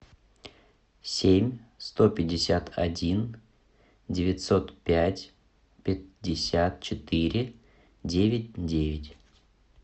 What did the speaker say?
семь сто пятьдесят один девятьсот пять пятьдесят четыре девять девять